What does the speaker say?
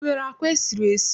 I nwere àkwá e siri esi?